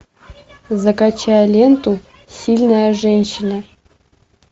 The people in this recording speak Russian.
закачай ленту сильная женщина